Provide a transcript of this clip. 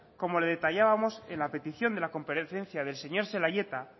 como le detallábamos en la petición de la comparecencia del señor zelaieta